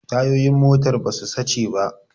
Tayoyin motar ba su sace ba